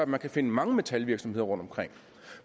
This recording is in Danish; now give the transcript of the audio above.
man kan finde mange metalvirksomheder rundtomkring